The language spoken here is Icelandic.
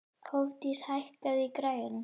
Hofdís, hækkaðu í græjunum.